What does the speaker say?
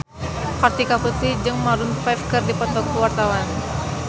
Kartika Putri jeung Maroon 5 keur dipoto ku wartawan